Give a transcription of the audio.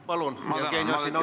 Palun, Jevgeni Ossinovski!